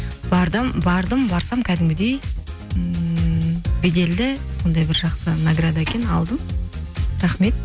бардым барсам кәдімгідей ммм беделді сондай бір жақсы награда екен алдым рахмет